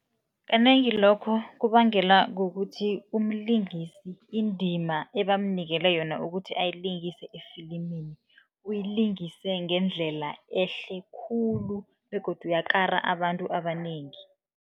Kanengi lokho kubangelwa kukuthi, umlingisi indima ebamnikele yona ukuthi ayilingise efilimini, uyilingise ngendlela ehle khulu begodu yakara abantu abanengi.